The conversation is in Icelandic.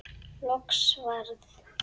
Loks varð